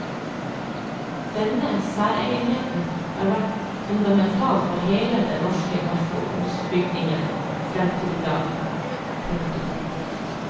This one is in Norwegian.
Denne særegenheten har vært fundamental for hele den norske nasjonsbygging frem til i dag. punktum